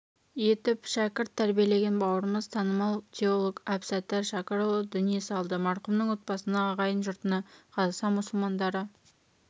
етіп шәкірт тәрбилеген бауырымыз танымал теолог әбсаттар шәкірұлы дүние салды марқұмның отбасына ағайын-жұртына қазақстан мұсылмандары